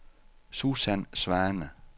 Susan Svane